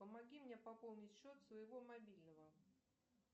помоги мне пополнить счет своего мобильного